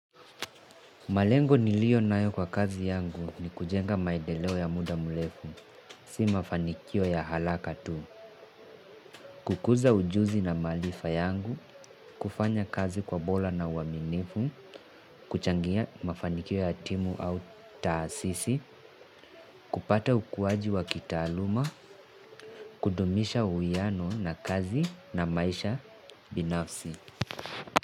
Malengo niliyonayo kwa kazi yangu ni kujenga maendeleo ya muda mrefu, si mafanikio ya haraka tu, kukuza ujuzi na maarifa yangu, kufanya kazi kwa bora na uaminifu, kuchangia mafanikio ya timu au taasisi, kupata ukuaji wa kitaaluma, kudumisha uwiano na kazi na maisha binafsi.